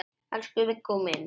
Elsku Viggó minn.